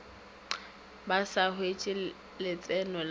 ba sa hwetše letseno la